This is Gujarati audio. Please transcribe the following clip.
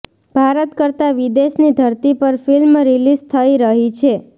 ભારત કરતા વિદેશની ધરતી પર ફિલ્મ રીલીઝ થઈ રહી છે